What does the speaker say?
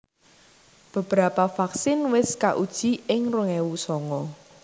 Beberapa vaksin wis kauji ing rong ewu songo